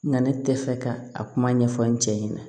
Na ne tɛ fɛ ka a kuma ɲɛfɔ n cɛ ɲɛna